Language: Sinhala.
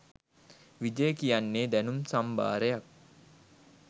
විජය කියන්නේ දැනුම් සම්භාරයක්